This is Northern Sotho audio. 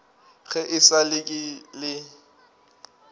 ge e sa le ke